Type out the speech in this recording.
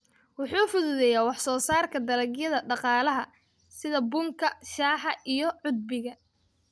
Wuxuu fududeeyaa wax soo saarka dalagyada dhaqaalaha sida bunka, shaaha, iyo cudbiga.